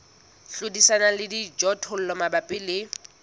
hlodisana le dijothollo mabapi le